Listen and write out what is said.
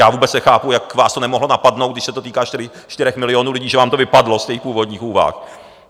Já vůbec nechápu, jak vás to nemohlo napadnout, když se to týká čtyř milionů lidí, že vám to vypadlo z těch původních úvah.